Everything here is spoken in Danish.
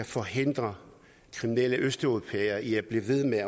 forhindre kriminelle østeuropæere i at blive ved med